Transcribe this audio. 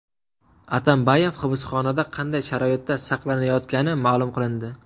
Atambayev hibsxonada qanday sharoitda saqlanayotgani ma’lum qilindi.